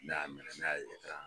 Ne ya mɛnɛ, ne ya ye